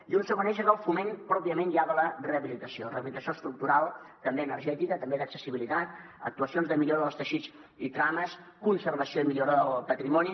i un segon eix és el foment pròpiament ja de la rehabilitació rehabilitació estructural també energètica també d’accessibilitat actuacions de millora dels teixits i trames conservació i millora del patrimoni